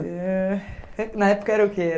Na época era o quê?